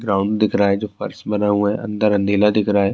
Ground دیکھ رہا ہے۔ جو فرش بنا ہوا ہے۔ اندر اندھیرا دیکھ رہا ہے۔